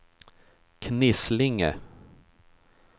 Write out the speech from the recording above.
Knislinge